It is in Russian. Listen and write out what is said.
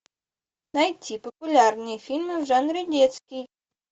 найти популярные фильмы в жанре детский